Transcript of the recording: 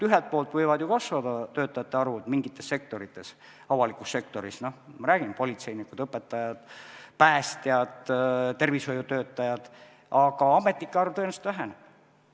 Ühelt poolt võib ju mingis sektoris töötajate arv kasvada , aga ametnike arv tõenäoliselt väheneb.